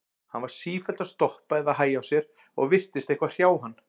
Hann var sífellt að stoppa eða hægja á sér og virtist eitthvað hrjá hann.